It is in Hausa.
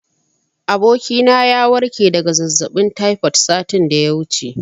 Abokina ya warke daga zazzaɓin taifod satin da ya wuce.